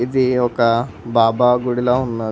ఇది ఒక బాబా గుడిలా ఉన్నది